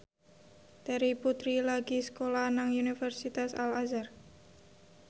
Terry Putri lagi sekolah nang Universitas Al Azhar